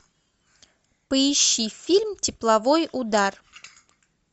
поищи фильм тепловой удар